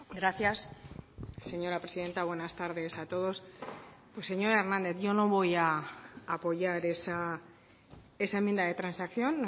gracias señora presidenta buenas tardes a todos pues señor hernández yo no voy a apoyar esa enmienda de transacción